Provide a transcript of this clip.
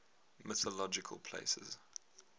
mythological places